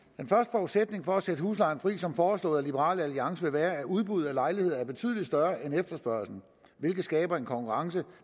forudsætning for at sætte huslejen fri som foreslået af liberal alliance vil være at udbuddet af lejligheder er betydelig større end efterspørgslen hvilket skaber en konkurrence